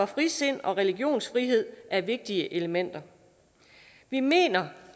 frisind og religionsfrihed er vigtige elementer vi mener